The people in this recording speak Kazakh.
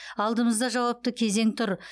алдымызда жауапты кезең тұр